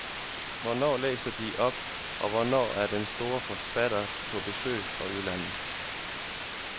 Hvornår læser de op, og hvornår er der store forfattere på besøg fra udlandet?